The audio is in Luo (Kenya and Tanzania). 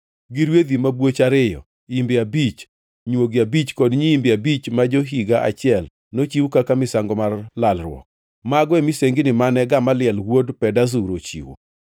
gi rwedhi mabwoch ariyo, imbe abich, nywogi abich, kod nyiimbe abich ma jo-higa achiel, nochiw kaka misango mar lalruok. Mago e misengini mane Gamaliel wuod Pedazur ochiwo.